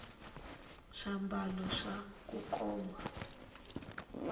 swambalo swa kukoma